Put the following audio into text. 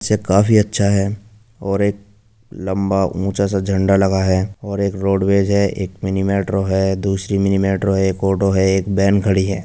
से काफी अच्छा है और एक लंबा ऊँचा सा झंडा लगा है और एक रोड वेज हैएक मिनी मेट्रो हैदूसरी मिनी मेट्रो हैएक ऑटो हैएक वेन खड़ी है।